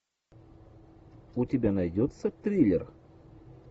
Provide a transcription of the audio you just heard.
у тебя найдется триллер